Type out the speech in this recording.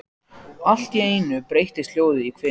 Allt í einu breytist hljóðið í hvin.